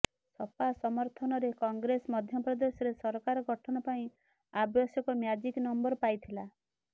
ସପା ସମର୍ଥନରେ କଂଗ୍ରେସ ମଧ୍ୟପ୍ରଦେଶରେ ସରକାର ଗଠନ ପାଇଁ ଆବଶ୍ୟକ ମ୍ୟାଜିକ ନମ୍ବର ପାଇଥିଲା